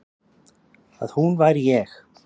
Að hún væri ég.